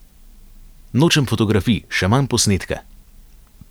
Nočem fotografij, še manj posnetke.